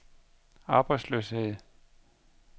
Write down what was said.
arbejdsløshed